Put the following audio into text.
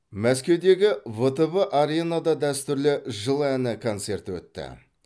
мәскеудегі втб аренада дәстүрлі жыл әні концерті өтті